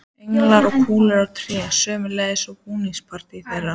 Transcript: Englar og kúlur á trénu, sömuleiðis úr búskapartíð þeirra.